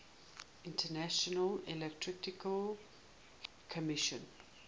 international electrotechnical commission